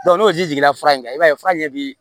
n'o ji jiginna i b'a ye fura ɲɛji bɛ